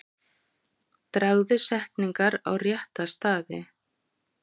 Dragðu setningar á rétta staði.